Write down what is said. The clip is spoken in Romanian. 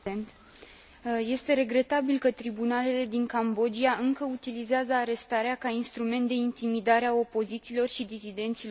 Este regretabil că tribunalele din Cambodgia încă utilizează arestarea ca instrument de intimidare a opozanților și disidenților politici.